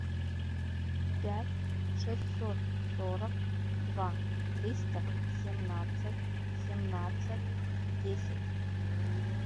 пять шестьсот сорок два триста семнадцать семнадцать десять